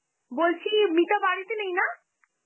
বলছি মিতা বাড়িতে নেই না?